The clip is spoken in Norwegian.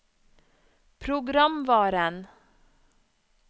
programvaren